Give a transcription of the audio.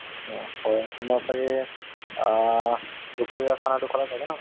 হয় তোমাৰ ছাগে আ দুপৰীয়াৰ খানাতো খালা ছাগে ন